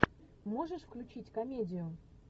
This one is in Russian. можешь включить комедию